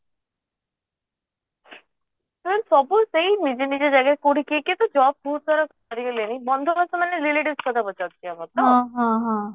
ସବୁ ସେଇ ନିଜ ନିଜ ଜାଗାରେ କୋଉଠି କିଏ କିଏ ତ job ବହୁତ ସାରା କରି ଗଲେଣି ବନ୍ଧୁବାସ ମାନେ relatives କଥା ପଚାରୁଛୁ କି ଆମର